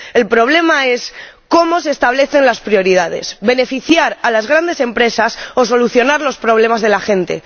El problema es cómo se establecen las prioridades ¿se trata de beneficiar a las grandes empresas o de solucionar los problemas de la gente?